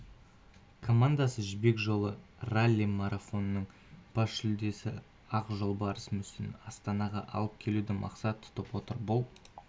командасы жібек жолы ралли-марафонының бас жүлдесі ақ жолбарыс мүсінін астанаға алып келуді мақсат тұтып отыр бұл